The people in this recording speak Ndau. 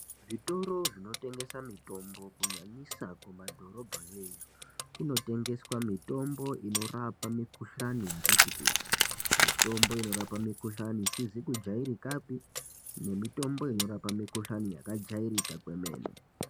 Zvitoro zvinotengese mitombo kunyanyisa kumadhorobha yoiyoyo kunotengeswa mitombo inorape mikhuhlane yakati kuti. Mitombo inorape mikhuhlane isizi kujairikapi nemitombo inorape mikhuhlane yakajairika kwemene.